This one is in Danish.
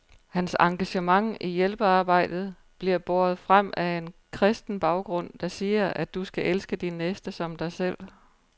Hans engagement i hjælpearbejdet bliver båret frem af en kristen baggrund, der siger, at du skal elske din næste som dig selv.